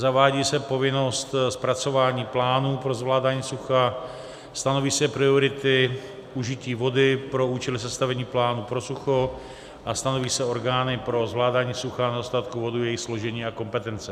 Zavádí se povinnost zpracování plánu pro zvládání sucha, stanoví se priority užití vody pro účely sestavení plánu pro sucho a stanoví se orgány pro zvládání sucha a nedostatku vody, jejich složení a kompetence.